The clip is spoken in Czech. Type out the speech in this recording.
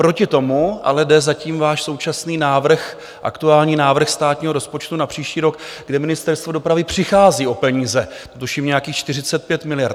Proti tomu ale jde zatím váš současný návrh, aktuální návrh státního rozpočtu na příští rok, kde Ministerstvo dopravy přichází o peníze, tuším nějakých 45 miliard.